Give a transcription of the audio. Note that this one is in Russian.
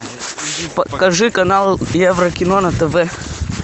покажи канал еврокино на тв